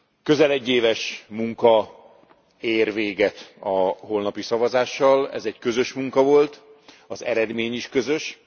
Közel egy éves munka ér véget a holnapi szavazással, ez egy közös munka volt, az eredmény is közös.